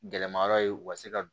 Gɛlɛma yɔrɔ ye u ka se ka